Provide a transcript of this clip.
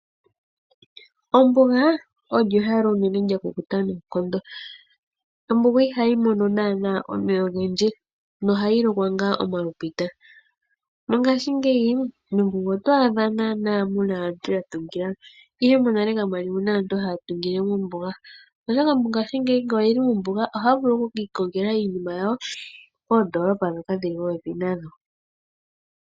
Ombuga olyo ehala unene lya kukuta noonkondo. Ombuga ihayi mono naana omeya ogendji, nohayi lokwa ngaa omalupita. Mongaashi ngeyi mombuga oto adha naana muna aantu yatungila mo, ihe monale kamwa li mu na aantu haatungile mombuga. Oshoka mongaashi ngeyi ngele oye li mombuga haya vulu oku ki ikongela iinima yawo koondoolopa ndhoka dhili popepi nayo.